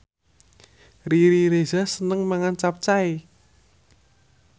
Riri Reza seneng mangan capcay